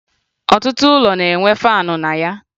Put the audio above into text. Ọtụtụ ụlọ na-enwe faanụ na ya